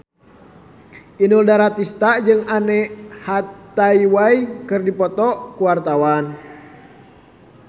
Inul Daratista jeung Anne Hathaway keur dipoto ku wartawan